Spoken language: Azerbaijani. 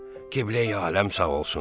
Qibləyi aləm sağ olsun.